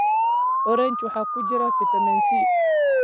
Orange waxa ku jira fitamiin C.